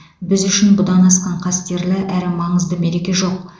біз үшін бұдан асқан қастерлі әрі маңызды мереке жоқ